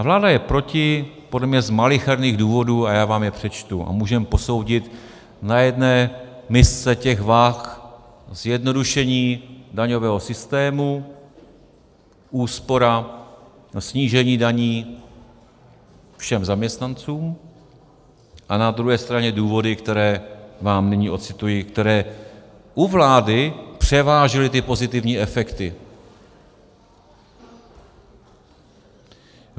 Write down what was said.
A vláda je proti podle mě z malicherných důvodů a já vám je přečtu a můžeme posoudit na jedné misce těch vah zjednodušení daňového systému, úspora, snížení daní všem zaměstnancům a na druhé straně důvody, které vám nyní ocituji, které u vlády převážily ty pozitivní efekty: